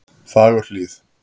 Fagurhlíð